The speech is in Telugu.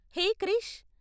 హే క్రిష్!